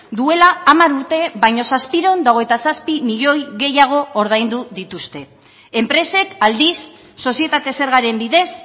duela hamar urte baina zazpiehun eta hogeita zazpi milioi gehiago ordaindu dituzte enpresek aldiz sozietate zergaren bidez